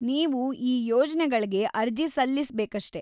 ನೀವು ಈ ಯೋಜ್ನೆಗಳ್ಗೆ ಅರ್ಜಿ ಸಲ್ಲಿಸ್ಬೇಕಷ್ಟೇ.